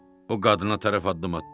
O qadına tərəf addım atdı.